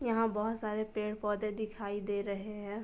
यहाँ बहुत सारे पेड़ पौद्ये दिखाई दे रहे हैं।